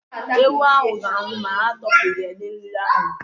Ehi ahụ ga-anwụ ma atọ pụghị n'eriri ahụ.